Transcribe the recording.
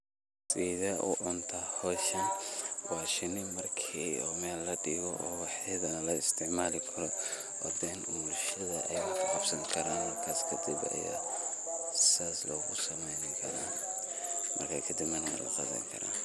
Wa shinii marki oo meel ladigo oo wexeda an lagaisticmalikaro oo bulshada wax kaqabsani karan markas kadib aya sas losameyni kara.